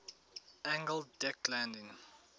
angled deck landing